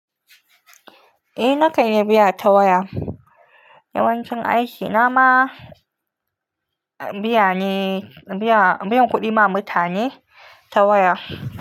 Eh, na kai iya biya ta waya. Yawancin aikina ma biya ne, biya, biyan kuɗi ma mutane ta waya.